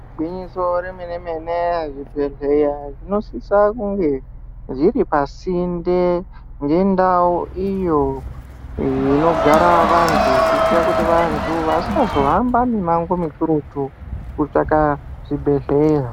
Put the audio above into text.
Igwinyiso remenemene zvibhedhleya zvinosisa kunge zviri pasinte nendau iyo inogara vanthu kuitira kuti vantu vasazohamba mimango mikurutu kutsvaka zvibhedhleya.